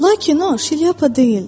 Lakin o şlyapa deyildi.